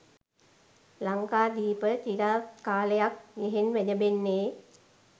ලංකාදීප චිරාත් කාලයක් යෙහෙන් වැජඹෙන්නේ